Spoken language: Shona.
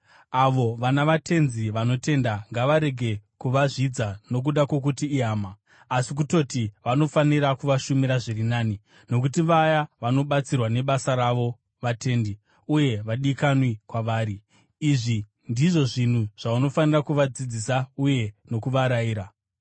Avo vana vatenzi vanotenda ngavarege kuvazvidza nokuda kwokuti ihama. Asi kutoti vanofanira kuvashumira zviri nani, nokuti vaya vanobatsirwa nebasa ravo vatendi, uye vadikanwi kwavari. Izvi ndizvo zvinhu zvaunofanira kuvadzidzisa uye nokuvarayira.